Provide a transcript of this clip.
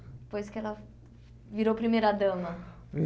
Depois que ela virou primeira-dama.